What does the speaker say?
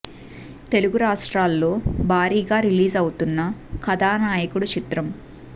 తెలుగు రాష్ట్రాల్లో భారీ గా రిలీజ్ అవుతున్న కథానాయకుడు చిత్రం